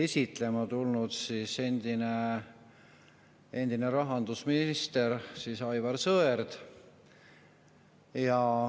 Seda eelnõu esitles endine rahandusminister Aivar Sõerd.